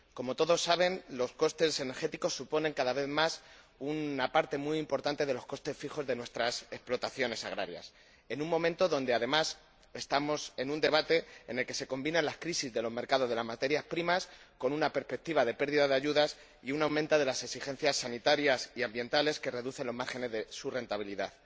Como todos saben, los costes energéticos suponen cada vez más una parte muy importante de los costes fijos de nuestras explotaciones agrarias, en un momento en el que, además, estamos en un debate en el que se combinan las crisis de los mercados de las materias primas con una perspectiva de pérdida de ayudas y un aumento de las exigencias sanitarias y ambientales que reducen los márgenes de su rentabilidad.